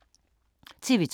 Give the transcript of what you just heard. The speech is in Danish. TV 2